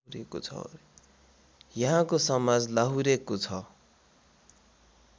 यहाँको समाज लाहुरेको छ